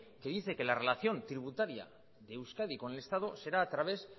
que dice que la relación tributaria de euskadi con el estado será a través